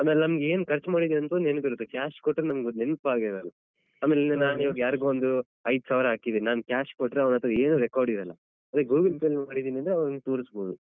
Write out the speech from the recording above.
ಅಂದ್ರೆ ನಮ್ಗೆ ಏನ್ ಖರ್ಚ್ ಮಾಡಿದ್ದೀವಿ ಅಂತ ಒಂದ್ ನೆನ್ಪಿರುತ್ತೆ cash ಕೊಟ್ರೆ ನಮ್ಗ್ ಅದ್ ನೆನ್ಪಾಗಿರಲ್ಲ ಆಮೇಲೆ ನಾನ್ ಈವಾಗ ಯಾರ್ಗೋ ಒಂದ್ ಐದ್ಸ್ಸಾವಿರ ಹಾಕಿದ್ದೀನಿ ನಾನ್ cash ಕೊಟ್ರೆ ಅವರತ್ರ ಏನೂ record ಇರಲ್ಲ. ಅದೇ Google Pay ಲಿ ಮಾಡಿದ್ದೀನಿ ಅಂದ್ರೆ ಅವ್ರಿಗೆ ತೋರಿಸ್ಬೋದು.